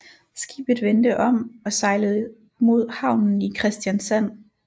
Skibet vendte om og sejlede mod havnen i Kristiansand